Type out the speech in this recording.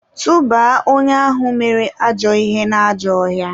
tụba onye ahụ mere ajọ ihe n'ajọ ọhịa!